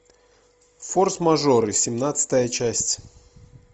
форс мажоры семнадцатая часть